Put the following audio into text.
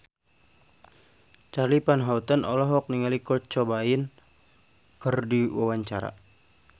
Charly Van Houten olohok ningali Kurt Cobain keur diwawancara